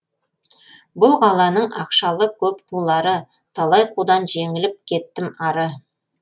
бұл қаланың ақшалы көп қулары талай қудан жеңіліп кеттім ары